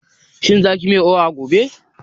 Shin za kiyi miyar oha gobe?